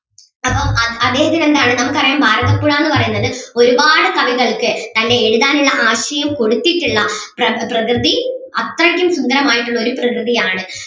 അപ്പം അദ്ദേഹത്തിന് എന്താണ് നമുക്ക് അറിയാം ഭാരതപ്പുഴ എന്ന് പറയുന്നത് ഒരുപാട് കവികൾക്ക് തൻ്റെ എഴുതാൻ ഉള്ള ആശയം കൊടുത്തിട്ടുള്ള പ്ര~പ്രകൃതി അത്രയ്ക്കും സുന്ദരം ആയിട്ടുള്ള ഒരു പ്രകൃതി ആണ്.